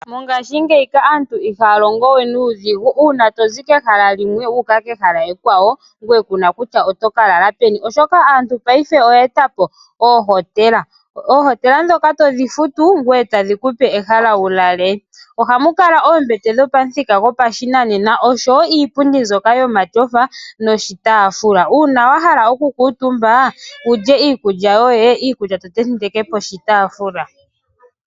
Mongashingeyi ka aantu ihaya longowe nuudhigu una tozi kehala limwe wuka kehala ekwawo ngoye kuna kutya oto kalala peni oshoka aantu paife oye etapo oohotela. Oohotela olyo ehala ndyoka to futu ngoye topewa ehala wulale, ohamu kala oombete dhopamuthika gopashinanena oshowo iipundi mbyoka yomatyofa noshitafula. Una wahala oku kutumba wulye iikulya yoye, iikulya ohoyi te nteke poshitafula.